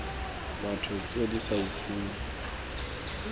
batho tse di sa iseng